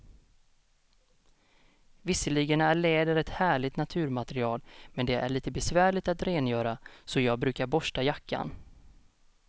Visserligen är läder ett härligt naturmaterial, men det är lite besvärligt att rengöra, så jag brukar borsta jackan.